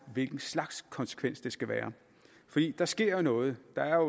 hvilken slags konsekvens det skal være der sker jo noget der er